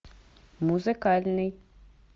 музыкальный